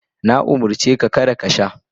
Na umurce ka kada ka sha.